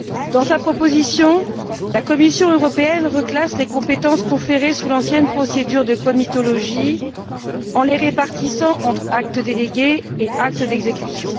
Dans sa proposition, la Commission européenne reclasse les compétences conférées sous l'ancienne procédure de comitologie en les répartissant entre actes délégués et actes d'exécution.